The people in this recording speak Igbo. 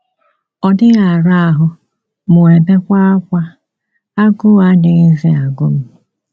Ọ dịghị ara ahụ mụ ebewa ákwá, agụụ adịghịzi agụ m.